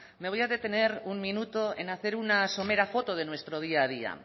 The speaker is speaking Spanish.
me voy a detener un minuto en hacer una somera foto de nuestro día a día